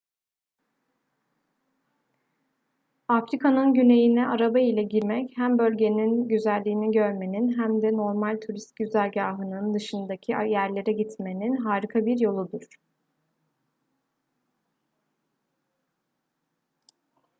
afrika'nın güneyine araba ile girmek hem tüm bölgenin güzelliğini görmenin hem de normal turist güzergahının dışındaki yerlere gitmenin harika bir yoludur